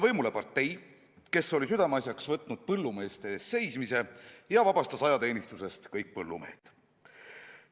Võimule sai partei, kes oli südameasjaks võtnud põllumeeste eest seismise ja vabastas ajateenistusest kõik põllumehed.